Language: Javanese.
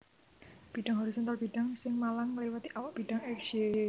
Bidhang horizontal bidhang sing malang ngliwati awak bidhang X Y